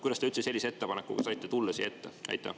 Kuidas te üldse saite sellise ettepanekuga siia ette tulla?